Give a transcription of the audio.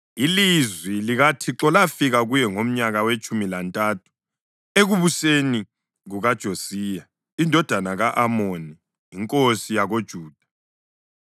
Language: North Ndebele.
Ilizwi likaThixo lafika kuye ngomnyaka wetshumi lantathu ekubuseni kukaJosiya indodana ka-Amoni inkosi yakoJuda,